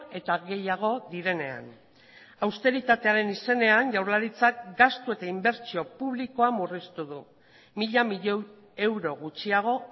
eta gehiago direnean austeritatearen izenean jaurlaritzak gastu eta inbertsio publikoa murriztu du mila milioi euro gutxiago